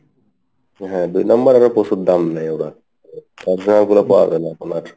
হ্যাঁ দুই number আবার প্রচুর দাম নেই ওরা original গুলো পাওয়া যাই না এখন আর।